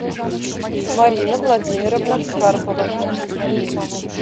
марина владимировна карпова